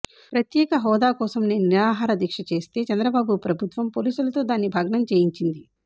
ప్రత్యేక హోదా కోసం నేను నిరహార దీక్ష చేస్తే చంద్రబాబు ప్రభుత్వం పోలీసులతో దాన్ని భగ్నం చేయించింది